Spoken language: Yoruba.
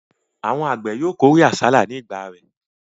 Àwọn àgbẹ̀ yóò kórè àsálà ní ìgbà rẹ̀.